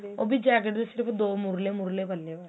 ਉਹ ਵੀ jacket ਦੇ ਸਿਰਫ਼ ਦੋ ਮੁਰਲੇ ਮੁਰਲੇ ਪੱਲੇ ਬੱਸ